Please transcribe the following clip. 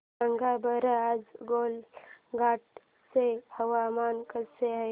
सांगा बरं आज गोलाघाट चे हवामान कसे आहे